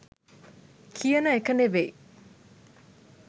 කියන එක නෙවෙයි.